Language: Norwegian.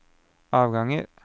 avganger